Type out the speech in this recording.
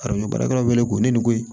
Arajo baarakɛlaw wele ko ne ni koyi